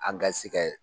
An ka se kɛ